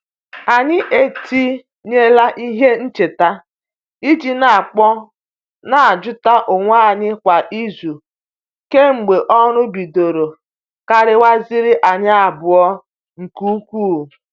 Anyị etinyela ihe ncheta i ji n'akpọ n'ajuta onwe anyi kwa izu kemgbe ọrụ bidoro kariwaziere anyi abụọ nke ukwuu.